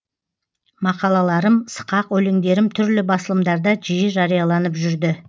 мақалаларым сықақ өлеңдерім түрлі басылымдарда жиі жарияланып жүрді